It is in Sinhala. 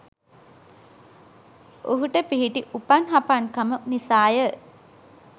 ඔහුට පිහිටි උපන් හපන්කම නිසාය.